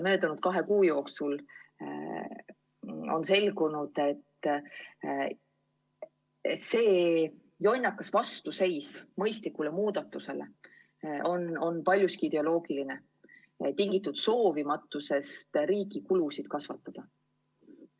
Möödunud kahe kuu jooksul on selgunud, et see jonnakas vastuseis mõistlikule muudatusele on paljuski ideoloogiline, tingitud soovimatusest riigi kulusid kasvatada.